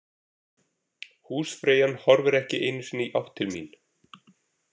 Húsfreyjan horfir ekki einu sinni í átt til mín.